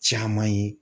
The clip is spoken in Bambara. Caman ye